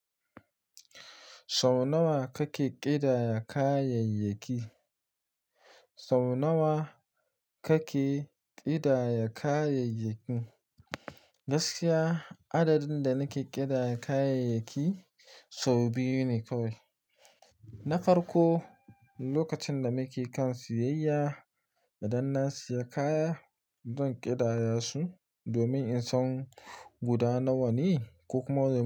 Sau nawa kake ƙidaya kayayyaki? Sau nawa kake ƙidaya kayayyaki? Gaskiya adadin da nike ƙidaya kayayyaki sau biyu ne kawai. Na farko lokacin da muke kan siyayya, idan na siya kaya zan ƙidaya su domin in san guda nawa ne ko kuma.